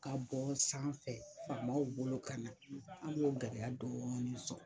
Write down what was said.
Ka bɔ sanfɛ faama bolo ka na an y'o gɛlɛya dɔɔnin sɔrɔ